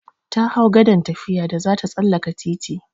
Ta hau gadan tafiya da zata tsallaka titi.